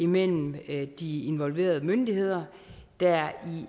mellem de involverede myndigheder der er